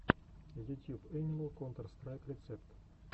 ютьюб энимал контэр страйк рецепт